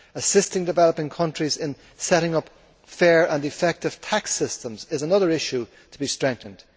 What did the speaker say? Assisting developing countries in setting up fair and effective tax systems is another issue to be strengthened.